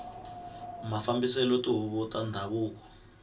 mafambiselo ya tihuvo ta ndhavuko